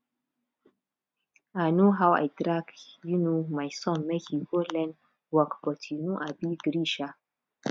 i know how i drag um my son make he go learn work but he no um gree um